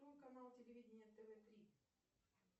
канал телевидения тв три